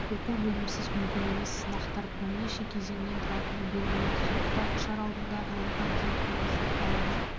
оқу-білімсіз мүмкін емес сынақтар бірнеше кезеңнен тұратыны белгілі сондықтан ұшар алдында ғылымға ден қоясың ауада